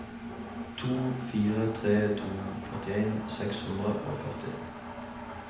to fire tre to førtien seks hundre og førti